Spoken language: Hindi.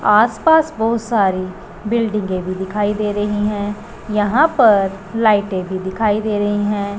आस पास बहुत सारी बिल्डिंगे भी दिखाई दे रही है। यहां पर लाइटे भी दिखाई दे रही है।